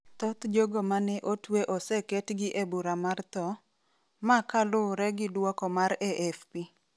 thoth jogo ma ne otwe oseketgi e bura mar tho, ma kaluwre gi duoko mar AFP